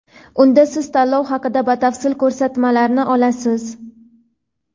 Unda siz tanlov haqida batafsil ko‘rsatmalarni olasiz.